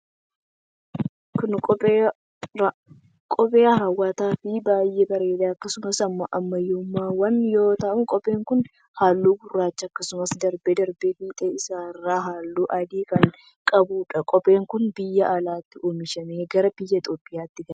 Kun, kophee haw'ataa fi baay'ee bareedaa akkasumas ammayyawaa yoo ta'u, kopheen kun haalluu gurraacha akkasumas darbee darbee fiixee isaa irraa haalluu adii kan qabuu dha. Kopheen kun, biyya alaatti oomishamee gara biyya Itoophiyaatti gala.